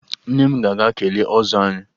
Nne m ga-aga kelee ọzọ anyị